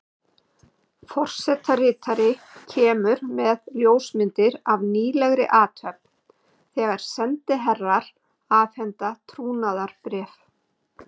Forsetaritari kemur með ljósmyndir af nýlegri athöfn, þegar sendiherrar afhenda trúnaðarbréf.